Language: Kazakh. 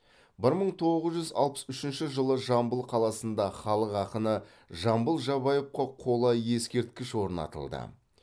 бір мың тоғыз жүз алпыс үшінші жылы жамбыл қаласында халық ақыны жамбыл жабаевқа қола ескерткіш орнатылды